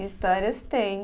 Histórias tem.